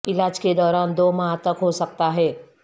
علاج کے دوران دو ماہ تک ہو سکتا ہے